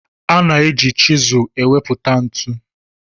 A na-eji chịsụ enweputa ntu